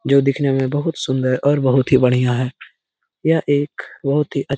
जो दिखने में बहुत सुंदर और बहुत ही बढ़िया है यह एक बोहोत ही अच्छ --